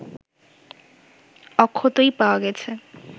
অক্ষতই পাওয়া গেছে